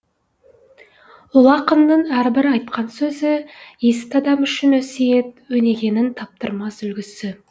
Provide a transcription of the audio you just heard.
ұлы ақынның әрбір айтқан сөзі есті адам үшін өсиет өнегенің таптырмас үлгісі